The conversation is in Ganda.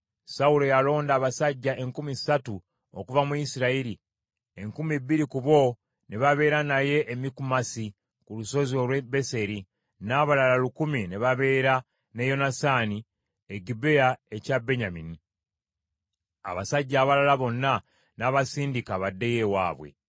Sawulo yalonda abasajja enkumi ssatu okuva mu Isirayiri, enkumi ebbiri ku bo ne babeera naye e Mikumasi ku lusozi olw’e Beseri, n’abalala lukumi ne babeera ne Yonasaani e Gibea ekya Benyamini. Abasajja abalala bonna n’abasindika baddeyo ewaabwe.